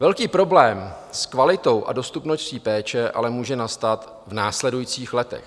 Velký problém s kvalitou a dostupností péče ale může nastat v následujících letech.